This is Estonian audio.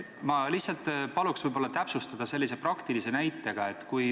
Ma palun seda täpsustada sellise praktilise näitega.